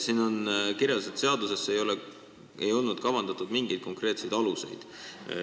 Siin on kirjas, et seadusesse ei olnud kavandatud mingeid konkreetseid aluseid.